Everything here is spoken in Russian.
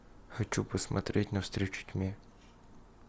хочу посмотреть навстречу тьме